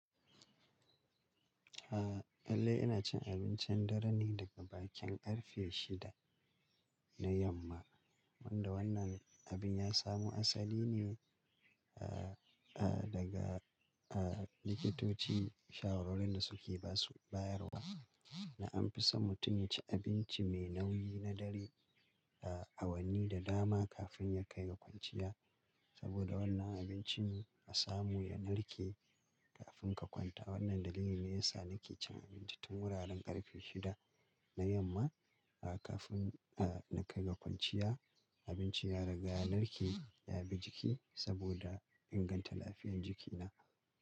Eh, lallai ina cin abincin dare ne daga bakin karfe shida na yamma. Wanda wannan abin ya samu asali ne, ah, ah, daga, ah, likitoci shawarorin da suke ba su bayarwa. Na an fi son mutum ya ci abinci mai nauyi na dare, awanni da dama kafin ya kai ga kwanciya. Saboda wannan abinci na samu ya narke kafin ka kwanta. Wannan dalili ne ya sa nake cin abincin tun wuraren karfe shida na yamma, ah, kafin, ah, na kai ga kwanciya. Abinci ya riga ya narke ya bi jiki saboda inganta lafiyar jikina.